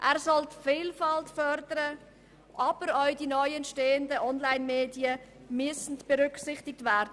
Er soll die Vielfalt fördern, aber auch die neu entstehenden Onlinemedien müssen berücksichtigt werden.